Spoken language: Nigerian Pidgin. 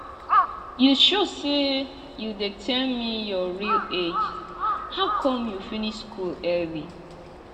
you sure say you dey tell me your real age how come you finish school early